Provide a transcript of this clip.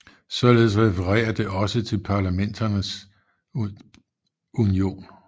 Således referer det også til Parlamenterns Union